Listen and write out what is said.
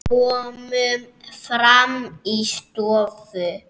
Komum fram í stofu.